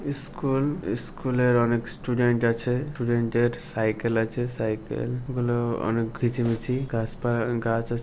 school স্কুলের অনেক student আছে স্টুডেন্টের সাইকেল আছে সাইকেলগুলো অনেক ঘিচি মিচি গাছ পা - আ - গাছ আছ--